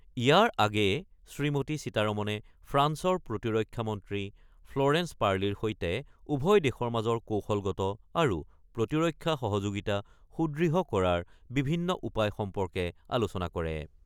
ইয়াৰ আগেয়ে শ্ৰীমতী সীতাৰমণে ফ্ৰান্সৰ প্ৰতিৰক্ষা মন্ত্ৰী ফ্ল'ৰেন্স পাৰ্লিৰ সৈতে উভয় দেশৰ মাজৰ কৌশলগত আৰু প্ৰতিৰক্ষা সহযোগিতা সুদৃঢ় কৰাৰ বিভিন্ন উপায় সম্পৰ্কে আলোচনা কৰে।